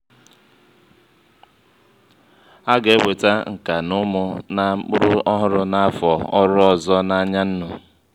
a ga eweta ǹkà na ụmụ na mkpụrụ ọhụrụ na-afo ọrụ ọzọ n'anya nụ